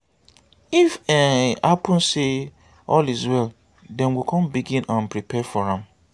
if e happun say all is well dem go con begin um prepare for am